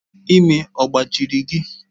Imi ọ gbajiri gị?